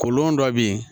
Kolon dɔ be yen